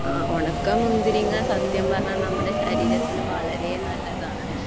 ഉണക്ക മുന്തിരിങ്ങ സത്യം പറഞ്ഞാൽ ശരീരത്തിന് വളരെ നല്ലതാണു